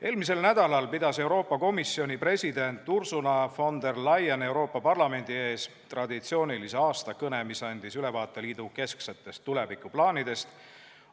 Eelmisel nädalal pidas Euroopa Komisjoni president Ursula von der Leyen Euroopa Parlamendi ees traditsioonilise aastakõne, mis andis ülevaate liidu kesksetest tulevikuplaanidest.